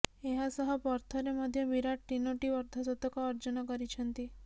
ଏହାସହ ପର୍ଥରେ ମଧ୍ୟ ବିରାଟ ତିନୋଟି ଅର୍ଦ୍ଧଶତକ ଅର୍ଜନ କରିଛନ୍ତି